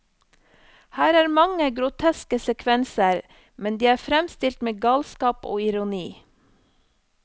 Her er mange groteske sekvenser, men de er fremstilt med galskap og ironi.